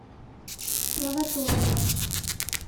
провоторова